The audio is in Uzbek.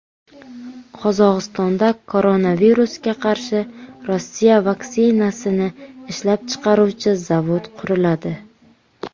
Qozog‘istonda koronavirusga qarshi Rossiya vaksinasini ishlab chiqaruvchi zavod quriladi.